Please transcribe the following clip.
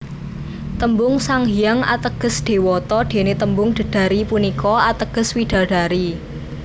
Tembung Sanghyang ateges dewata dene tembung Dedari punika ateges widadari